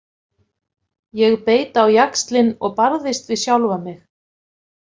Ég beit á jaxlinn og barðist við sjálfa mig.